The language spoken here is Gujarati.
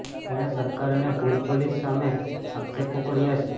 તેણે સરકાર અને ભુજ પોલીસ સામે આક્ષેપો કર્યા છે